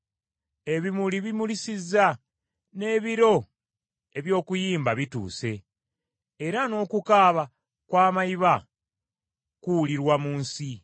Ebimuli bimulisizza, n’ebiro eby’okuyimba bituuse, era n’okukaaba kw’amayiba kuwulirwa mu nsi.